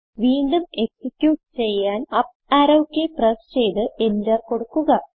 വീണ്ടും എക്സിക്യൂട്ട് ചെയ്യാൻ up arrow key press ചെയ്ത് എന്റർ കൊടുക്കുക